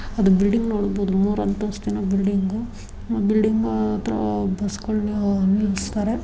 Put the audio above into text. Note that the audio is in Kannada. ಅದು ಬಿಲ್ಡಿಂಗ್ ನೋಡಬಹುದು ಮೂರು ಅಂತಸ್ತಿನ ಬಿಲ್ಡಿಂಗು ಬಿಲ್ಡಿಂಗ್ ಹತ್ರ ಬಸ್ ಗಳಿಸುತ್ತಾರೆ.